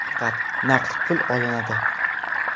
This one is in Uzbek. Faqat naqd pul olinadi.